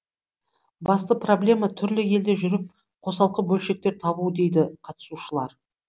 басты проблема түрлі елде жүріп қосалқы бөлшектер табу дейді қатысушылар